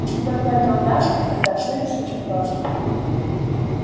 если только это удастся тогда всё решится просто